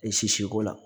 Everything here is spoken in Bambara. E sisi ko la